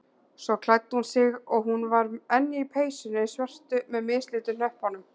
Svo klæddi hún sig- hún var enn í peysunni svörtu með mislitu hnöppunum.